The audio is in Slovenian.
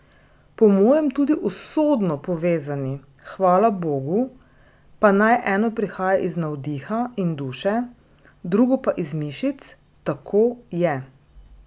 Po mojem tudi usodno povezani, hvalabogu, pa naj eno prihaja iz navdiha in duše, drugo pa iz mišic, tako je.